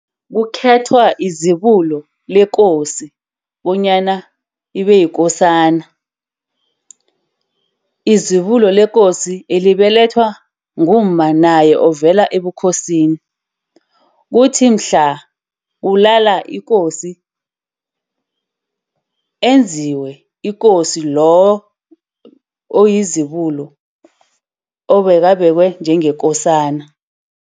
Kukhethwe izibulo lekosi bonyana libe yikosana. Izibulo lekosi elibelethwa ngumma naye ovela ebukhosini. Kuthi mhla kulala ikosi, enziwe ikosi lo oyizibulo, obeka obekwe njengekosana.